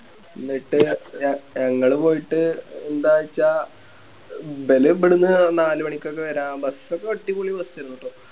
ന്നീട് ഞങ്ങള് പോയിട്ട് രണ്ടാഴ്ച ഇബല് ഇബ്‌ട്ന്ന് നാല് മണിക്കൊക്കെ വരാം Bus ഒക്കെ അടിപൊളി Bus ആരുന്നു ട്ടോ